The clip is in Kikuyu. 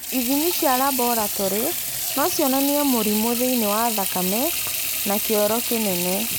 Ithimi cia laboratory no cionanie mũrimũ thĩinĩ wa thakame na kĩoro kinene